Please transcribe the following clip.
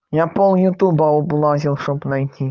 я пол ютуба облазил чтобы найти